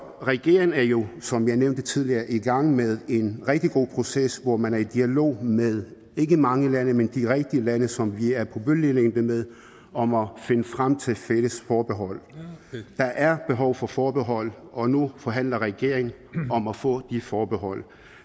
regeringen er jo som vi har nævnt det tidligere i gang med en rigtig god proces hvor man er i dialog med ikke mange lande men de rigtige lande som vi er på bølgelængde med om at finde frem til fælles forbehold der er behov for forbehold og nu forhandler regeringen om at få de forbehold